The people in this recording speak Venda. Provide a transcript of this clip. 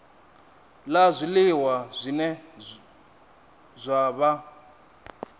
la zwiliwa zwine zwa vha